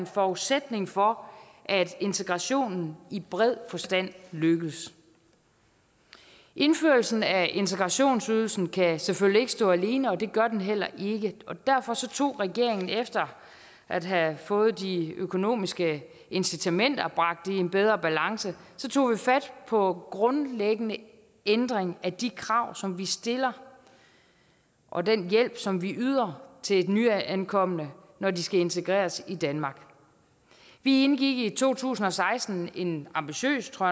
forudsætning for at integrationen i bred forstand lykkes indførelsen af integrationsydelsen kan selvfølgelig ikke stå alene og det gør den heller ikke derfor tog regeringen efter at have fået de økonomiske incitamenter bragt i en bedre balance fat på grundlæggende ændring af de krav som vi stiller og den hjælp som vi yder til nyankomne når de skal integreres i danmark vi indgik i to tusind og seksten en ambitiøs tror